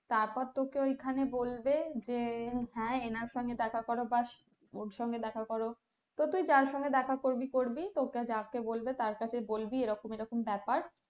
তারপর তোকে ওইখানে বলবে যে হ্যাঁ এনার সঙ্গে দেখা করো ব্যাস ওর সঙ্গে দেখা করো। তো তুই যার সঙ্গে দেখা করবি করবি তোকে যাকে বলবে তার কাছে বলবি এরকম এরকম ব্যাপার